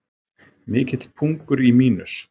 Mikill pungur í Mínus